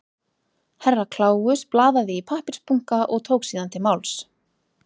Herra Kláus blaðaði í pappírsbunka og tók síðan til máls.